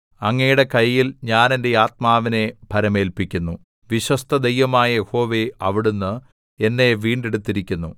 അങ്ങയുടെ കയ്യിൽ ഞാൻ എന്റെ ആത്മാവിനെ ഭരമേല്പിക്കുന്നു വിശ്വസ്തദൈവമായ യഹോവേ അവിടുന്ന് എന്നെ വീണ്ടെടുത്തിരിക്കുന്നു